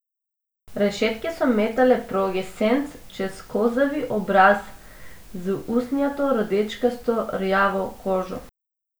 Rešetke so metale proge senc čez kozavi obraz z usnjato, rdečkasto rjavo kožo.